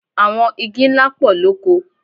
Àwọn igi ńlá pọ̀ lóko.